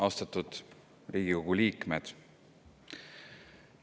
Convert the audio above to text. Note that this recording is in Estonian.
Austatud Riigikogu liikmed!